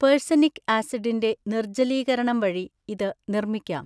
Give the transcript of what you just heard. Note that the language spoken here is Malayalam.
പെർസെനിക് ആസിഡിന്റെ നിർജ്ജലീകരണം വഴി ഇത് നിർമ്മിക്കാം.